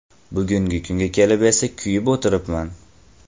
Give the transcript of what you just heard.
Bugungi kunga kelib esa kuyib o‘tiribman.